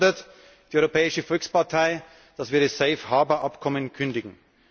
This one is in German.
Deswegen fordert die Europäische Volkspartei, dass wir das Safe Harbour Abkommen kündigen.